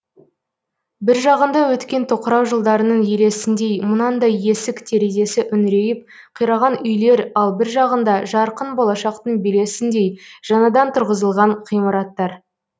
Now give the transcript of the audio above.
бір жағында өткен тоқырау жылдарының елесіндей мынандай есік терезесі үңірейіп қираған үйлер ал бір жағында жарқын болашақтың белесіндей жаңадан тұрғызылған ғимараттар